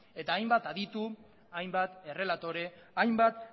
eta hainbat adituk hainbat errelatorek hainbat